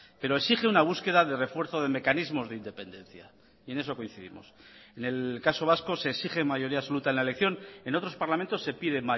pero exige una búsqueda de refuerzo de mecanismos de independencia y en eso coincidimos en el caso vasco se exige mayoría absoluta en la elección en otros parlamentos se pide